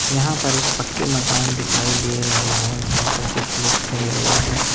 यहां पर एक पक्के मकान दिखाई दे रहे हैं जहां पर कुछ लोग खड़े हुए हैं।